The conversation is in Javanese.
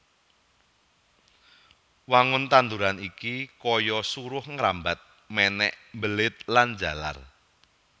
Wangun tanduran iki kaya suruh ngrambat mènèk mbelit lan njalar